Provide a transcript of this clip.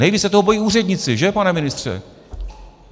Nejvíc se toho bojí úředníci, že, pane ministře?